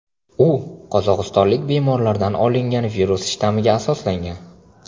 U qozog‘istonlik bemorlardan olingan virus shtammiga asoslangan.